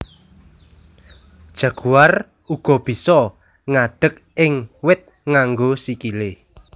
Jaguar uga bisa ngadeg ing wit nganggo sikilé